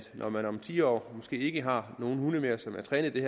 når man om ti år måske ikke har nogen hunde mere som er trænet i